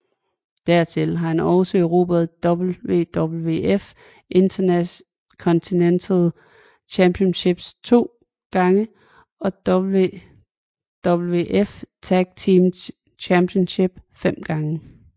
Dertil har han også erobret WWF Intercontinental Championship to gange og WWF Tag Team Championship fem gange